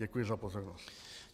Děkuji za pozornost.